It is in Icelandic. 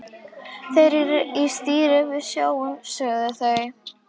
Þeir eru í stíl við snjóinn, sögðu þau.